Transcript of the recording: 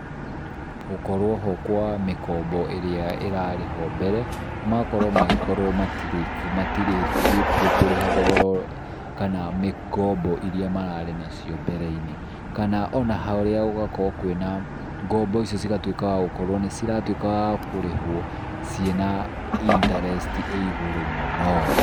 Gũkorwo ho kwa mĩkombo ĩrĩa ĩrarĩho mbere, magakorwo magĩkorwo matirĩkĩtie kũrĩha thogora kana ngombo iria mararĩ nacio mbere-inĩ. Kana ona haria gũgakorwo kwĩna ngombo icio cigatuĩka wa gũkorwo nĩ ciratuĩka wa kũrĩhwo ciĩ na interest ĩ igũrũ mũno.